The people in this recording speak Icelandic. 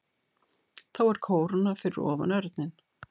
Þá er kóróna fyrir ofan örninn.